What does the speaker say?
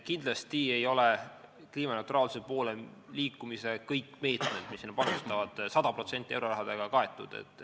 Kindlasti ei ole kõik kliimaneutraalsuse poole liikumise meetmed sada protsenti eurorahaga kaetud.